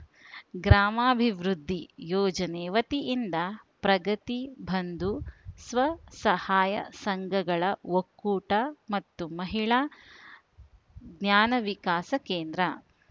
ಗ್ರಾಮಾಭಿವೃದ್ಧಿ ಯೋಜನೆ ವತಿಯಿಂದ ಪ್ರಗತಿ ಬಂಧು ಸ್ವಸಹಾಯ ಸಂಘಗಳ ಒಕ್ಕೂಟ ಮತ್ತು ಮಹಿಳಾ ಜ್ಞಾನವಿಕಾಸ ಕೇಂದ್ರ